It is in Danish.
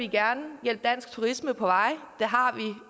gerne hjælpe dansk turisme på